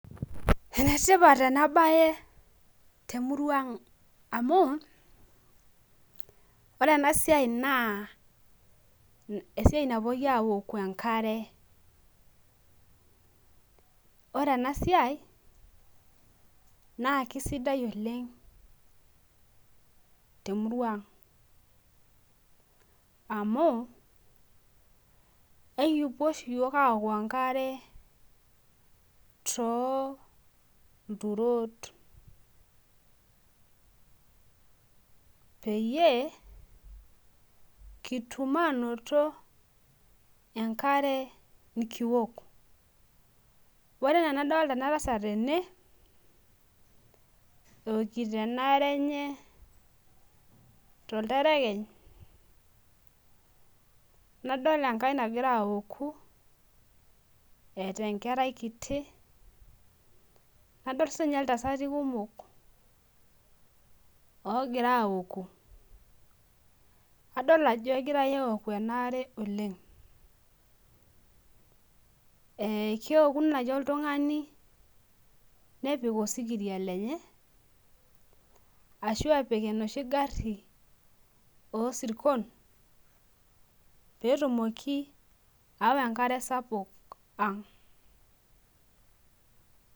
enetipat ena baye temuruang amu ore ena siai naa esiai napuoi awuoku enkare , ore ena siai naa kisidai oleng temurua ang' amu ekipuo oshi iyiok aaaaoku enkare too ilturot , peeyie kitum aanoto enkare nikiwuok , ore enaa ena doolta ena tasat tene ewokiti enaare tolterekeny, nadol enkae nagra awuoku eeta enkerai kiti nadol sii ninye iltasati kumok oogira aoku adol ajo egirai auku enaare oleng', ee keoku naaji oltung'ani nepik osikiria lenye ashu epik enoshi gari oo isirkon , pee etumoki awa enkare sapuk ang'.